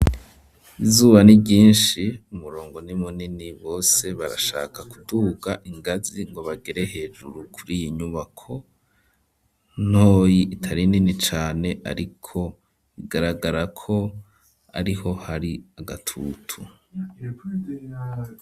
Izuba niryinshi ,umurongo ni munini bose barashaka kuduga ingazi ngo bagere hejuru kur, iyo nyubako ntoyi itari nini cane, ariko igaragara ko ariho hari agatutu.